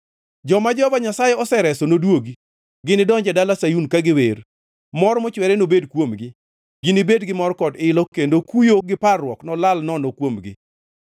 Joma Jehova Nyasaye osereso nodwogi. Ginidonji e dala Sayun ka giwer; mor mochwere nobed kuomgi. Ginibed gi mor kod ilo, kendo kuyo gi parruok nolal nono kuomgi.